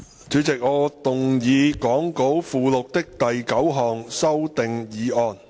主席，我動議講稿附錄的第9項修訂議案。